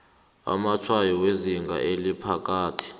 amatshwayo wezinga eliphakathi